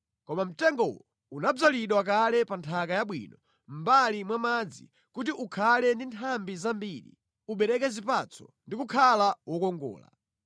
Koma mtengowo unadzalidwa kale pa nthaka yabwino mʼmbali mwa madzi kuti ukhale ndi nthambi zambiri, ubereke zipatso ndi kukhala wokongola.’